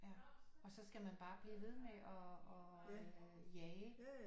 Ja og så skal man bare blive ved med at jage